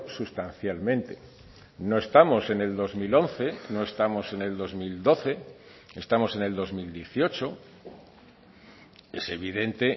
sustancialmente no estamos en el dos mil once no estamos en el dos mil doce estamos en el dos mil dieciocho es evidente